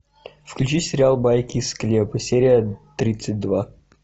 включи сериал байки из склепа серия тридцать два